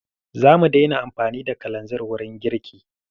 Za mu daina amfani da kalazir wurin girki.